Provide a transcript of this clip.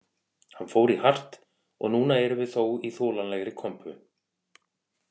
Hann fór í hart og núna erum við þó í þolanlegri kompu